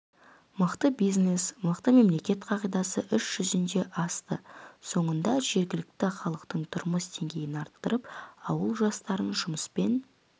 мықты бизнес мықты мемлекет қағидасы іс жүзіне асты соңында жергілікті халықтың тұрмыс деңгейін арттырып ауыл жастарын жұмыспен